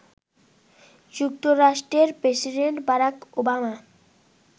যুক্তরাষ্ট্রের president Barack Obama